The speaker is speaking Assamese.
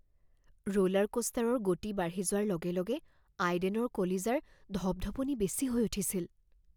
ৰোলাৰ কোষ্টাৰৰ গতি বাঢ়ি যোৱাৰ লগে লগে আইডেনৰ কলিজাৰ ধপধপনি বেছি হৈ উঠিছিল